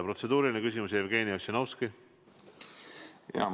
Protseduuriline küsimus, Jevgeni Ossinovski!